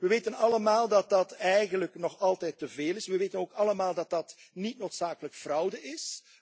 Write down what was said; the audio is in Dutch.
We weten allemaal dat dat eigenlijk nog altijd te veel is. We weten ook allemaal dat dat niet noodzakelijk fraude is.